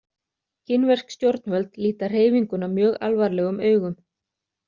Kínversk stjórnvöld líta hreyfinguna mjög alvarlegum augum.